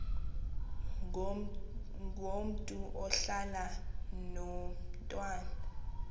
ngomntu ohlala nomntwana